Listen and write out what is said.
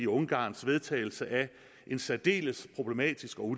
ungarns vedtagelse af en særdeles problematisk og